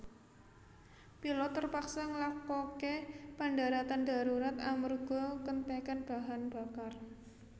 Pilot terpaksa nglakoke pendaratan darurat amerga kentekan bahan bakar